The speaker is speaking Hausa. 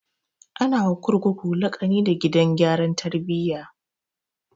Ana wa kurkuku laƙani da gidan gyaran tarbiya